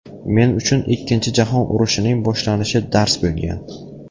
Men uchun Ikkinchi jahon urushining boshlanishi dars bo‘lgan.